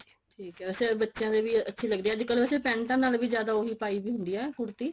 ਠੀਕ ਐ ਵੈਸੇ ਬੱਚਿਆ ਦੇ ਵੀ ਅੱਛੀ ਲਗਦੀ ਐ ਅੱਜਕਲ ਵੈਸੇ ਪੈਂਟਾਂ ਨਾਲ ਵੀ ਜਿਆਦਾ ਉਹ ਪਾਈ ਦੀ ਹੁੰਦੀ ਹੈ ਕੁੜਤੀ